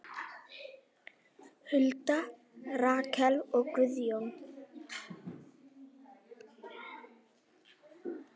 Hulda, Rakel og Guðjón.